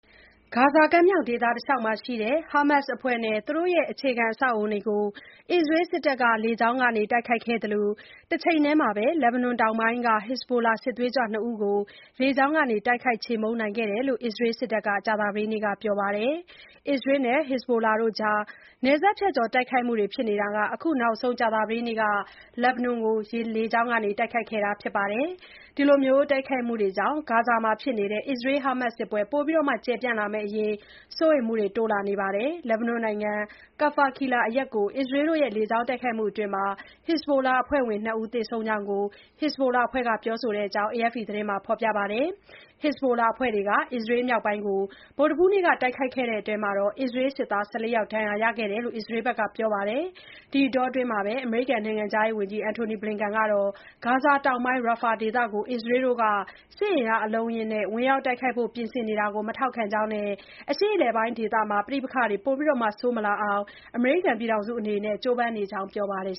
ဂါဇာကမ်းမြောင်ဒေသ တလျှောက်မှာရှိတဲ့ ဟာမတ်စ်အဖွဲ့နဲ့ သူတို့ရဲ့ အခြေခံ အဆောက်အအုံတွေကို အစ္စရေးစစ်တပ်က လေကြောင်းကနေ တိုက်ခိုက်ခဲ့သလို၊ တချိန်တည်းမှာလည်း လက်ဘနွန်တောင်ပိုင်းက ဟက်ဇ်ဘိုလာ စစ်သွေးကြွ နှစ်ဦးကို လေကြောင်းကနေ တိုက်ခိုက် ချေမှုန်းနိုင်ခဲ့တယ်လို့ အစ္စရေးစစ်တပ်က ကြာသပတေးနေ့က ပြောပါတယ်။ အစ္စရေးနဲ့ ဟက်ဇ်ဘိုလာကြား နယ်စပ်ဖြတ်ကျော် တိုက်ခိုက်မှုတွေ ဖြစ်နေတာမှာ အခုနောက်ဆုံး ကြာသပတေးနေ့က လက်ဘနွန်ကို လေကြောင်းကနေ တိုက်ခိုက်ခဲ့တာပါ။ ဒီလို တိုက်ခိုက်မှုတွေကြောင့် ဂါဇာမှာဖြစ်နေတဲ့ အစ္စရေး−ဟာမတ်စ်စစ်ပွဲ ပိုပြီး ကျယ်ပြန့်လာမယ့်အရေး စိုးရိမ်မှုတွေလည်း တိုးလာနေပါတယ်။ လက်ဘနွန်နိုင်ငံ Kfar Kila အရပ်ကို အစ္စရေး လေကြောင်း တိုက်ခိုက်မှုအတွင်း ဟက်ဇ်ဘိုလာအဖွဲ့ဝင် ၂ ဦး သေဆုံးကြောင်းကို ဟက်ဇ်ဘိုလာအဖွဲ့ကလည်း ပြောဆိုတဲ့အကြောင်း AFP သတင်းက ဖော်ပြပါတယ်။ ဟက်ဇ်ဘိုလာအဖွဲ့တွေက အစ္စရေးမြောက်ပိုင်းကို ဗုဒ္ဓဟူးနေ့က တိုက်ခိုက်မှုအတွင်းမှာတော့ အစ္စရေး စစ်သား ၁၄ ယောက် ဒဏ်ရာ ရခဲ့တယ်လို့ အစ္စရေးက ပြောပါတယ်။ ဒီအတောအတွင်း အမေရိကန်နိုင်ငံခြားရေးဝန်ကြီး Antony Blinken ကတော့ ဂါဇာတောင်ပိုင်း Rafah ဒေသကို အစ္စရေးက စစ်အင်အား အလုံးအရင်းနဲ့ ဝင်ရောက် တိုက်ခိုက်ဖို့ ပြင်ဆင်နေတာကို မထောက်ခံကြောင်းနဲ့ အရှေ့အလယ်ပိုင်း ဒေသမှာ ပဋိပက္ခတွေ ပိုဆိုးမလာအောင် အမေရိကန်အစိုးရက ကြိုးပမ်းနေကြောင်း ပြောပါတယ်